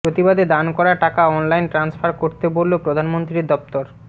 প্রতিবাদে দান করা টাকা অনলাইন ট্রান্সফার করতে বলল প্রধানমন্ত্রীর দফতর